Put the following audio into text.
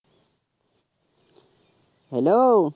hello